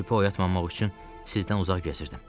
Şübhə oyatmamaq üçün sizdən uzaq gəzirdim.